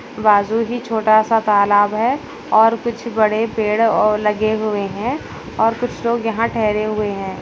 बाजू भी छोटा सा तालाब है और कुछ बड़े पेड़ और लगे हुए हैं और कुछ लोग यहाँ ठहरे हुए हैं।